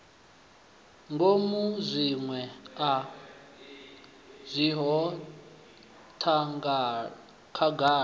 ngomu zwiṅwe a zwiho khagala